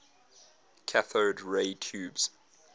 cathode ray tubes